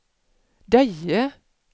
Deje